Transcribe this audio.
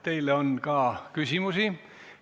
Teile on ka küsimusi.